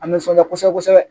A nisɔnjaara kosɛbɛ kosɛbɛ